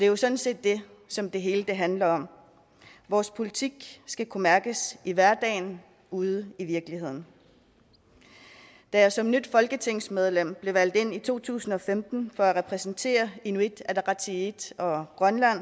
jo sådan set det som det hele handler om vores politik skal kunne mærkes i hverdagen ude i virkeligheden da jeg som nyt folketingsmedlem blev valgt ind i to tusind og femten for at repræsentere inuit ataqatigiit og